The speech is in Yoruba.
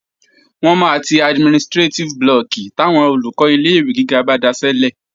Wọ́n máa ti administrétíf blọọ̀kì táwọn Olùkọ́ ilé-ìwé gíga bá daṣẹ́lẹ̀